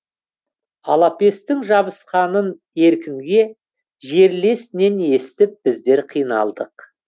алапестің жабысқанын еркінге жерлесінен естіп біздер қиналдық